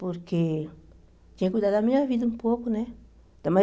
Porque tinha que cuidar da minha vida um pouco, né? Também